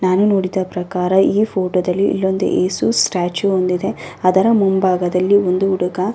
ನಾನು ನೋಡಿದ ಪ್ರಕಾರ ಈ ಫೋಟೋ ದಲ್ಲಿ ಇಲ್ಲೊಂದು ಎಸು ಸ್ಟ್ಯಾಚು ಒಂದಿದೆ. ಅದರ ಮುಂಭಾಗದಲ್ಲಿ ಒಬ್ಬ ಹುಡುಗ --